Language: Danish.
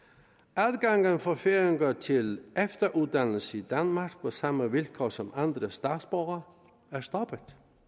adgangen for færinger til efteruddannelse i danmark på samme vilkår som andre statsborgere er stoppet